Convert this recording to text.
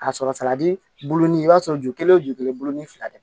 A sɔrɔ sala bulu ni i b'a sɔrɔ ju kelen o ju kelen bulu ni fila de